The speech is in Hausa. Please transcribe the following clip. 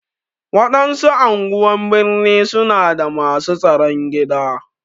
Waɗansu anguwan birni su na da masu tsaron gida.